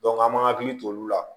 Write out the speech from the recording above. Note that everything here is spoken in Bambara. an m'an hakili to olu la